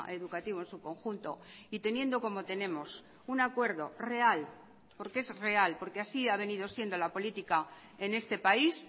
educativo en su conjunto y teniendo como tenemos un acuerdo real porque es real porque así ha venido siendo la política en este país